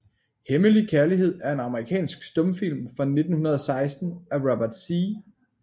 Hemmelig Kærlighed er en amerikansk stumfilm fra 1916 af Robert Z